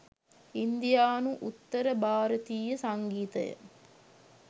ඉන්දියානු උත්තර භාරතීය සංගීතය